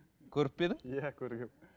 көріп пе едің иә көргенмін